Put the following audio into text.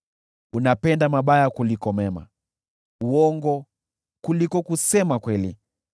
Unapenda mabaya kuliko mema, uongo kuliko kusema kweli.